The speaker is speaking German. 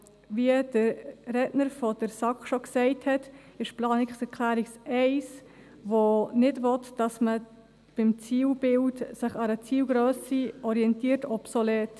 Wie der Sprecher der SAK bereits gesagt hat, ist die Planungserklärung 1, die nicht will, dass man sich beim Zielbild an einer Zielgrösse orientiert, obsolet.